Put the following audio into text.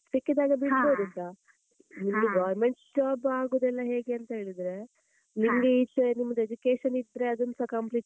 ಸಿಕ್ಕಿದಾಗ ಬಿಡ್ಬೊದು ಸಾ , ನಿಮ್ದು government job ಆಗುದೆಲ್ಲಾ ಹೇಗೆ ಅಂತ ಹೇಳಿದ್ರೆ ಇಲ್ಲಿ ಈಚೆ ನಿಮ್ಮದು education ಇದ್ರೆ ಅದನ್ನುಸ complete ,